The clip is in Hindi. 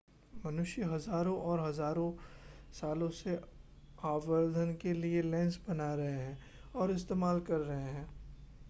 मनुष्य हज़ारों और हज़ारों सालों से आवर्धन के लिए लेंस बना रहे हैं और इस्तेमाल कर रहे हैं